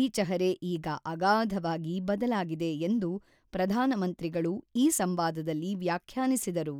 ಈಚಹರೆ ಈಗ ಅಗಾಧವಾಗಿ ಬದಲಾಗಿದೆ ಎಂದು ಪ್ರಧಾನಮಂತ್ರಿಗಳು ಈ ಸಂವಾದದಲ್ಲಿ ವ್ಯಾಖ್ಯಾನಿಸಿದರು.